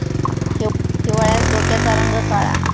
हिवाळ्यात डोक्याचा रंग काळा.